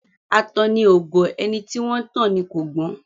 Atanni ò gọ̀; ẹni tí wọ́n ńtàn ni kò gbọ́n.